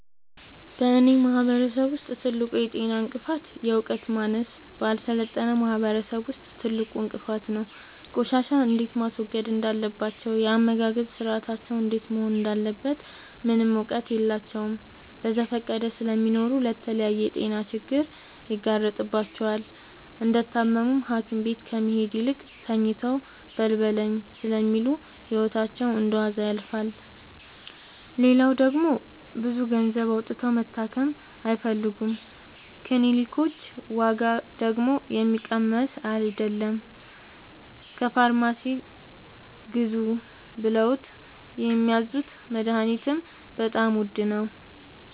በእኔ ማህበረሰብ ውስጥ ትልቁ የጤና እንቅፍት የዕውቀት ማነስ በአልሰለጠነ ማህበረሰብ ውስጥ ትልቁ እንቅፋት ነው። ቆሻሻ እንዴት ማስወገድ እንዳለባቸው የአመጋገብ ስርአታቸው እንዴት መሆን እንዳለበት ምንም እውቀት የላቸውም በዘፈቀደ ስለሚኖሩ ለተለያየ የጤና ችግር ይጋረጥባቸዋል። እንደታመሙም ሀኪቤት ከመሄድ ይልቅ ተኝተው በልበለኝ ስለሚሉ ህይወታቸው እንደዋዛ ያልፋል። ሌላው ደግሞ ብዙ ገንዘብ አውጥተው መታከም አይፈልጉም ክኒልኮች ዋጋደግሞ የሚቀመስ አይለም። ከፋርማሲ ግዙ ብለውት የሚያዙት መደሀኒትም በጣም ውድ ነው።